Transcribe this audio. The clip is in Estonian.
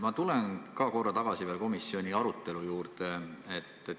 Ma tulen korra tagasi komisjoni arutelu juurde.